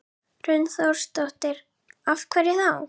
Hrund Þórsdóttir: Af hverju þá?